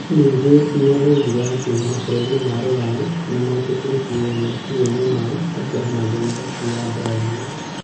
Ningĩ nĩ oigire atĩ mabũrũri ma Rũraya "nĩ metĩkĩtie meciria-inĩ mao" atĩ Amazon ti ya Brazil.